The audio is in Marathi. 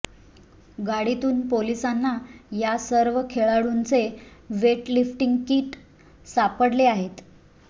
गाडीतून पोलिसांना या सर्व खेळाडूंचे वेट लिफ्टिंग किट सापडले आहेत